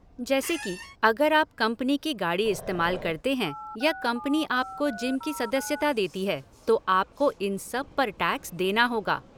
जैसे कि, अगर आप कंपनी की गाड़ी इस्तेमाल करते हैं या कंपनी आपको जिम की सदस्यता देती है तो आपको इन सब पर टैक्स देना होगा।